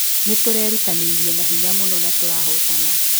Nĩtũrerutanĩirie na hinya mũno na tũrahotana